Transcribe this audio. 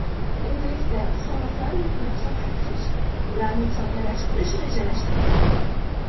Endilikda soliqlar yukini kamaytirish, ularni soddalashtirish rejalashtirilmoqda.